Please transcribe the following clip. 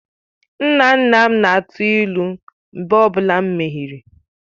Nna nna m na-atụ ilu mgbe ọ bụla m mehiere.